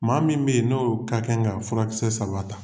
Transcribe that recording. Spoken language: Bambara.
Maa min ben n'o ka kɛn ka furakisɛ saba ta